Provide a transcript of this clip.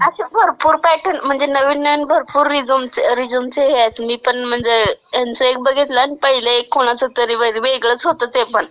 अच्छा म्हणजे भरपूर पॅटर्न म्हणजे नवीन नवीन भरपूर रिझ्यूमचे रिझ्यूमचे हे आहेत, मी पण म्हणजे ह्यांचं एक बघितलं आणि पहिलं एक कुणाचं तरी.. म्हणजे वेगळंच होतं ते पण.